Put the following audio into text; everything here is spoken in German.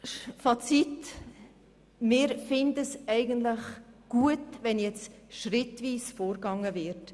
Fazit: Wir finden es eigentlich gut, wenn nun schrittweise vorgegangen wird.